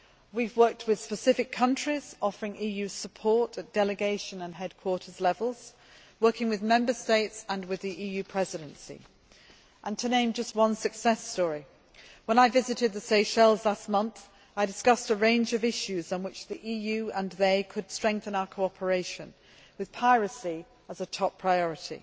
We have worked with specific countries, offering EU support, at delegation and headquarters levels, working with Member States and the EU Presidency. To name just one success story, when I visited the Seychelles last month, I discussed a range of issues on which they and the EU could strengthen our cooperation, with piracy as a top priority.